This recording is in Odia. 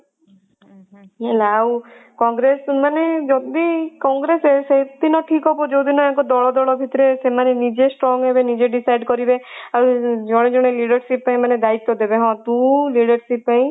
ହେଲା ଆଉ କଂଗ୍ରେସ ମାନେ ଯଦି କଂଗ୍ରେସ ସେଦିନ ଠିକ ହବ ଯୋଉଦିନ ୟାଙ୍କ ଦଳ ଦଳ ଭିତରେ ସେମାନେ ନିଜେ strong ହେଲେ ନିଜେ deicide କରିବେ ଆଉ ଜଣେ ଜଣେ leadership ପାଇଁ ଦାୟିତ୍ଵ ଦେବେ ହଁ ତୁ leadership ପାଇଁ